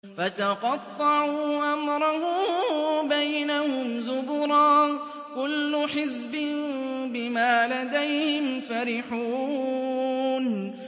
فَتَقَطَّعُوا أَمْرَهُم بَيْنَهُمْ زُبُرًا ۖ كُلُّ حِزْبٍ بِمَا لَدَيْهِمْ فَرِحُونَ